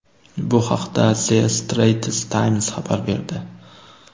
Bu haqda The Straits Times xabar berdi .